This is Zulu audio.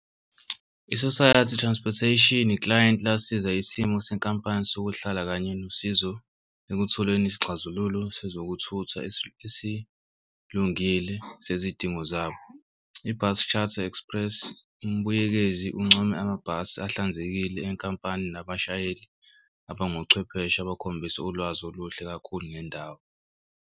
I-society transportation iklayenti lasiza isimo senkampani sokuhlala kanye nosizo ekutholeni isixazululo sezokuthutha esilungile sezidingo zabo. Ibhasi Charter Express umbuyekezi uncome amabhasi ahlanzekile enkampani nabashayeli abangochwepheshe abakhombisa ulwazi oluhle kakhulu ngendawo.